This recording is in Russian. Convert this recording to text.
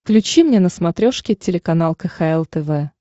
включи мне на смотрешке телеканал кхл тв